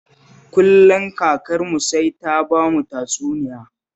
Kullum kakarmu sai ta bamu tatsuniya